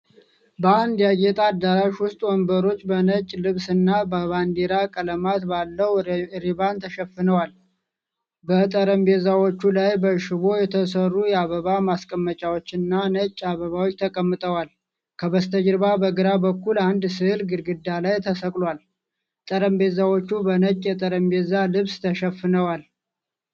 በአንድ ያጌጠ አዳራሽ ውስጥ ወንበሮቹ በነጭ ልብስና በባንዲራ ቀለማት ባለው ሪባን ተሸፍነዋል። በጠረጴዛዎች ላይ በሽቦ የተሰሩ የአበባ ማስቀመጫዎችና ነጭ አበባዎች ተቀምጠዋል። ከበስተጀርባ በግራ በኩል አንድ ሥዕል ግድግዳ ላይ ተሰቅሏል። ጠረጴዛዎቹ በነጭ የጠረጴዛ ልብስ ተሸፍነዋል?